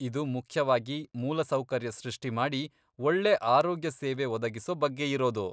ಇದು ಮುಖ್ಯವಾಗಿ ಮೂಲಸೌಕರ್ಯ ಸೃಷ್ಟಿಮಾಡಿ ಒಳ್ಳೇ ಆರೋಗ್ಯ ಸೇವೆ ಒದಗಿಸೋ ಬಗ್ಗೆಯಿರೋದು.